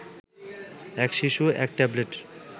এক শিশু এক ট্যাবলেট